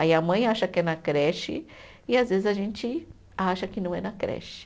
Aí a mãe acha que é na creche e às vezes a gente acha que não é na creche.